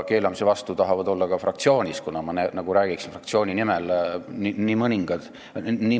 Keelamise vastu tahab olla ka nii mõnigi meie fraktsioonis .